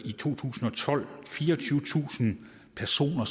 i to tusind og tolv har fireogtyvetusind personer